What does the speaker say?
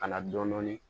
Ka na dɔɔnin dɔɔnin